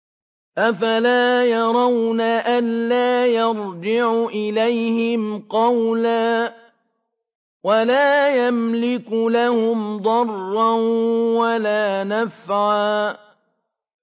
أَفَلَا يَرَوْنَ أَلَّا يَرْجِعُ إِلَيْهِمْ قَوْلًا وَلَا يَمْلِكُ لَهُمْ ضَرًّا وَلَا نَفْعًا